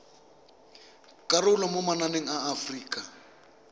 karolo mo mananeng a aforika